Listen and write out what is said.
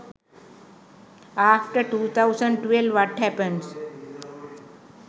after 2012 what happens